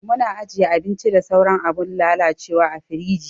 Muna ajiye abinci da sauran abun lalacewa a firiji.